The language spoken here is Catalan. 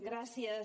gràcies